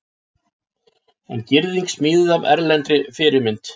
Er girðing smíðuð að erlendri fyrirmynd